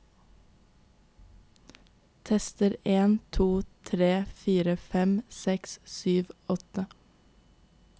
Tester en to tre fire fem seks sju åtte